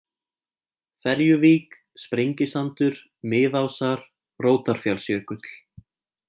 Ferjuvík, Sprengisandur, Miðásar, Rótarfjallsjökull